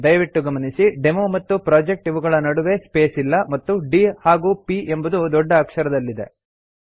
ದಯವಿಟ್ಟು ಗಮನಿಸಿ ಡೆಮೊ ಮತ್ತು ಪ್ರೊಜೆಕ್ಟ್ ಇವುಗಳ ನಡುವೆ ಸ್ಪೇಸ್ ಇಲ್ಲ ಮತ್ತು D ಹಾಗೂ P ಎಂಬುದು ದೊಡ್ಡ ಅಕ್ಷರದಲ್ಲಿದೆ